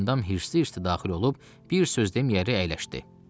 Gülyandam hirsli-hirsli daxil olub bir söz deməyəri əyləşdi.